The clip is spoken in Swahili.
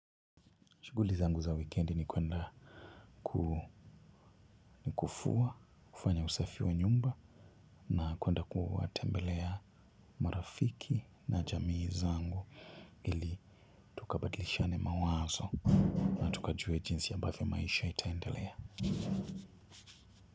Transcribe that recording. Shughuli zangu za wikendi ni kuenda kufua, kufanya usafi wa nyumba na kuenda kuwatembelea marafiki na jamii zangu ili tukabadilishane mawazo. Tukajue jinsi ambavyo maisha itaendelea.